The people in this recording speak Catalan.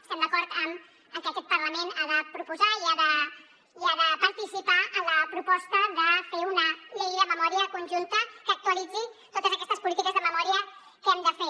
estem d’acord en que aquest parlament ha de proposar i ha de participar en la proposta de fer una llei de memòria conjunta que actualitzi totes aquestes polítiques de memòria que hem de fer